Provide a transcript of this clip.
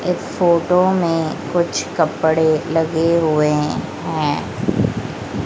इस फोटो में कुछ कपड़े लगे हुए हैं।